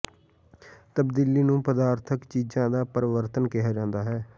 ਤਬਦੀਲੀ ਨੂੰ ਪਦਾਰਥਕ ਚੀਜ਼ਾਂ ਦਾ ਪਰਿਵਰਤਨ ਕਿਹਾ ਜਾਂਦਾ ਹੈ